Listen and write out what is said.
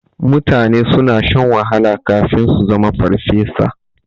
Mutane suna shan wahala kafin su zama farfesa.